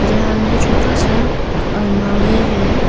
यहां में छोटा सा अलमारी है